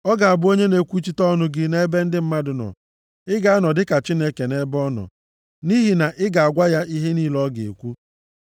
Ọ ga-abụ onye na-ekwuchite ọnụ gị nʼebe ndị mmadụ nọ. Ị ga-anọ dịka Chineke nʼebe ọ nọ, nʼihi na ị ga-agwa ya ihe niile ọ ga-ekwu.